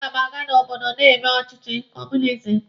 A ga m aga n'obodo na-eme ọchịchị kọọmunizim.